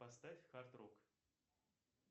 поставь хард рок